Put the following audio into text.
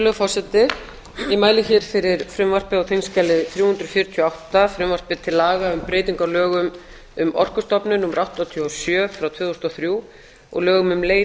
virðulegur forseti ég mæli hér fyrir frumvarpi á þingskjali þrjú hundruð fjörutíu og átta frumvarpi til laga um breytingu á lögum um orkustofnun númer áttatíu og sjö tvö þúsund og þrjú og lögum um leit